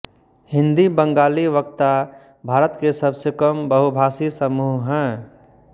हिंदी बंगाली वक्ता भारत के सबसे कम बहुभाषी समूह हैं